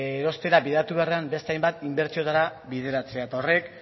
erostera bideratu beharrean beste hainbat inbertsioetara bideratzea eta horrek